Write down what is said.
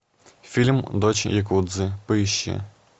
фильм дочь якудзы поищи